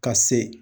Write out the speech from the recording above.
Ka se